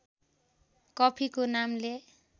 कफीको नामले